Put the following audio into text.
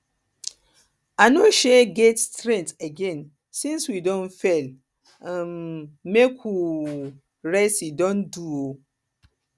i no um get strength again since we don fail um make we um rest e don do